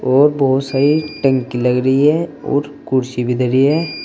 और बहुत सारी टंकी लग रही है और कुर्सी भी धरी है।